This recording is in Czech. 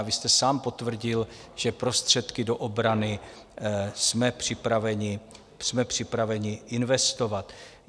A vy jste sám potvrdil, že prostředky do obrany jsme připraveni investovat.